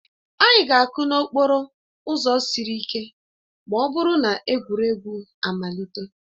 Anyị ga-akụ n'okporo ụzọ siri ike ma ọ bụrụ na egwuregwu amalite